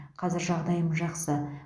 қазір жағдайым жақсы